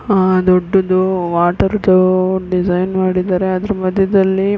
ಆ ದೊಡ್ಡದ್ದು ವಾಟರ್ದು ಡಿಸೈನ್ ಮಾಡಿದ್ದಾರೆ. ಅದ್ರು ಮಧ್ಯದ್ಲಲಿ --